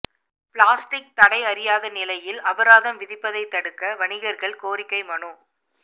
plastic தடை அறியாத நிலையில் அபராதம் விதிப்பதை தடுக்க வணிகர்கள் கோரிக்கை மனு